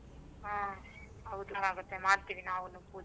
ಹಾ ಹೌದು ಆಗತ್ತೆ ಮಾಡ್ತೀವಿ ನಾವೂನೂ ಪೂಜೆ.